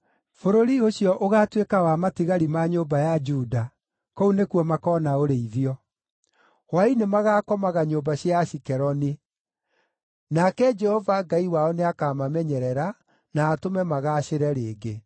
Bũrũri ũcio ũgaatuĩka wa matigari ma nyũmba ya Juda; kũu nĩkuo makoona ũrĩithio. Hwaĩ-inĩ magaakomaga nyũmba cia Ashikeloni. Nake Jehova Ngai wao nĩakamamenyerera, na atũme magaacĩre rĩngĩ.